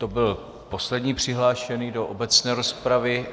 To byl poslední přihlášený do obecné rozpravy.